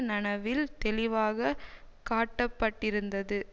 நனவில் தெளிவாக காட்டப்பட்டிருந்தது